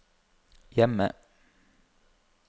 hjemme